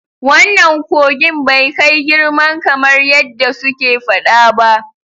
Wannan kogin bai kai girman kamar yadda suke fada ba.